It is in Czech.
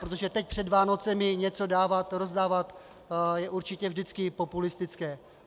Protože teď před Vánoci něco dávat, rozdávat, je určitě vždycky populistické.